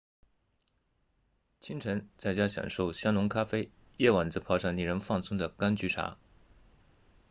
清晨在家享受香浓咖啡夜晚则泡上令人放松的甘菊茶